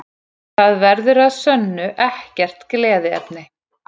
Það verður að sönnu ekkert gleðiefni